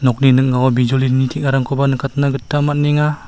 nokni ning·ao bijolini teng·arangkoba nikatna gita man·enga.